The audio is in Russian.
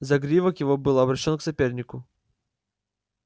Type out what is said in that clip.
загривок его был обращён к сопернику